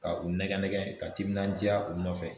Ka u nɛgɛ nɛgɛ ka timinandiya u nɔfɛ